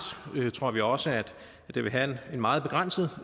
tror vi også at det vil have en meget begrænset